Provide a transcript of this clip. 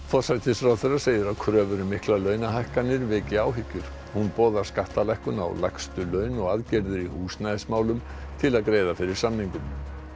forsætisráðherra segir að kröfur um miklar launahækkanir veki áhyggjur hún boðar skattalækkun á lægstu laun og aðgerðir í húsnæðismálum til að greiða fyrir samningum